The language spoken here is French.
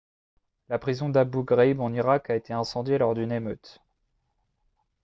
la prison d'abu ghraib en irak a été incendiée lors d'une émeute